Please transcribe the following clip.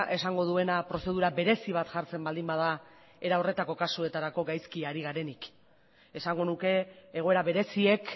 esango duena prozedura berezi bat jartzen baldin bada era horretako kasuetarako gaizki ari garenik esango nuke egoera bereziek